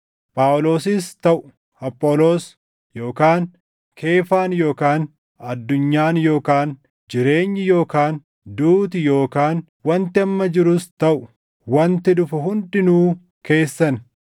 Phaawulosis taʼu Apholoos yookaan Keefaan yookaan addunyaan yookaan jireenyi yookaan duuti yookaan wanti amma jirus taʼu wanti dhufu hundinuu keessan;